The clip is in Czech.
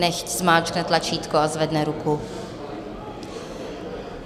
Nechť zmáčkne tlačítko a zvedne ruku.